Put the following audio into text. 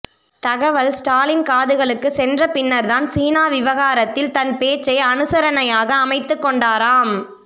தகவல் ஸ்டாலின் காதுகளுக்குச் சென்ற பின்னர்தான் சீனா விவகாரத்தில் தன் பேச்சை அனுசரணையாக அமைத்துக்கொண்டாராம்